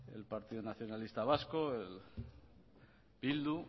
el partido nacionalista vasco bildu